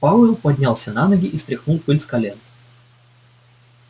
пауэлл поднялся на ноги и стряхнул пыль с колен